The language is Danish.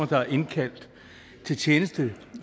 der er indkaldt til tjeneste